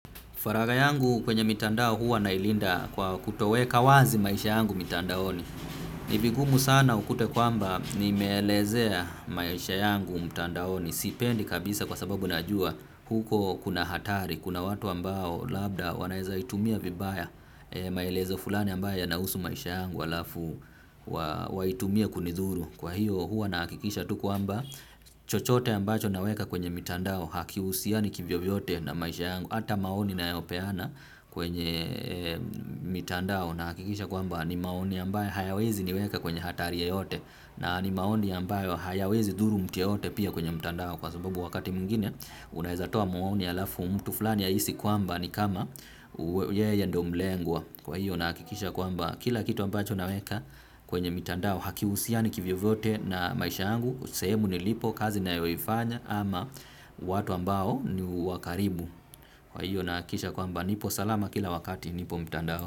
Faraga yangu kwenye mitandao huwa nailinda kwa kutoweka wazi maisha yangu mitandaoni. Nivigumu sana ukute kwamba nimeelezea maisha yangu mitandaoni. Sipendi kabisa kwa sababu najua huko kuna hatari, kuna watu ambao labda wanaeza itumia vibaya. Maelezo fulani ambayo yanausu maisha yangu walafu waitumie kunidhuru. Kwa hiyo huwa nakikisha tu kuamba chochote ambacho naweka kwenye mitandao hakiusiani kivyovyote na maisha yangu. Hata maoni nayopeana kwenye mitandao nahakikisha kwamba nimaoni ambayo hayawezi niweka kwenye hatari yoyote. Na ni maoni ambayo hayawezi dhuru mtu yoyote pia kwenye mitandao. Kwa sababu wakati muingine unahizatoa maoni yalafu mtu fulani yaisi kwamba ni kama yeye ndo mlengwa. Kwa hiyo nahakikisha kwamba kila kitu ambacho naweka kwenye mitandao hakiusiani kivyo vote na maisha angu, sehemu nilipo kazi nayoyifanya ama watu ambao ni wakaribu. Kwa hiyo nakisha kwamba nipo salama kila wakati nipo mtanda ho.